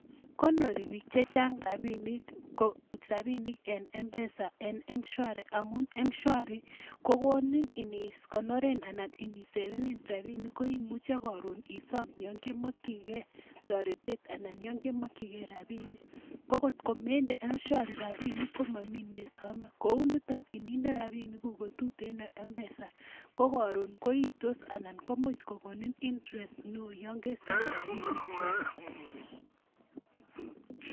Konori biik che chang rabinik en, mpesa en mshwari amun mshwari ko konin ini konoren anan inisavenen rabinik koimuche karon isom yankemekchigei toritet anan yo kemakchigei rabinik, kokot komende mshwari rabinik ko mami neisome, kou niton ininde rabinik kuk ko tuten en mpesa ko karon koitos anan komuch kokon interest neoo yankesom rabinichwa.